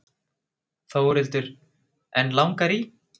Þórhildur: En langar í?